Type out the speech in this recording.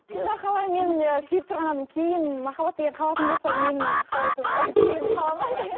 сонда қалай мен ы сүйіп тұрған адамым кейін махаббат деген қалатын болса мен қалай сонда келін қалады ма